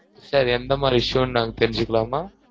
sir எந்த மாதிரி issue னு நாங்க தெரிஞ்சுக்கலாமா?